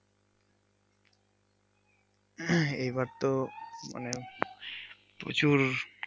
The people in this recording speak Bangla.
এই বার তো মানে প্রচুর।